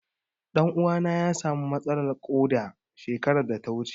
Ɗan uwana ya samu matsalar ƙoda shekarar da ta wuce.